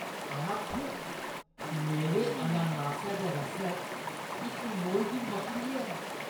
आ थू! मेरे अनानासै दे रसै च इक मोई दी मकड़ी ऐ।